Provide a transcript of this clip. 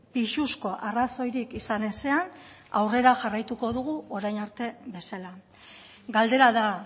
pisuzko arrazoirik izan ezean aurrera jarraituko dugu orain arte bezala galdera da